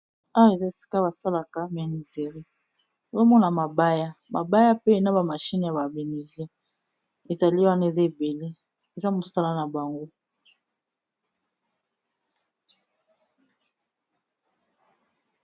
Awa eza esika basalaka menuiserie, ozo mona mabaya. Mabaya pe na ba machine ya ba menuisier, ezali wana eza ebele eza mosala na bango.